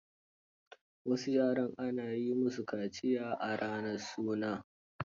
Wasu yaran, ana yi musu kaciya a ranar suna.